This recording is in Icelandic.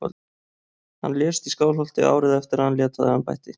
Hann lést í Skálholti árið eftir að hann lét af embætti.